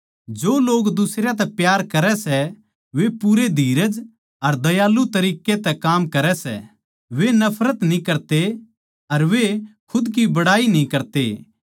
जो लोग दुसरयां तै प्यार करै सै वे पूरे धीरज अर दयालु तरिक्कें तै काम करै सै वे नफरत न्ही करते अर वे खुद की बड़ाई न्ही करते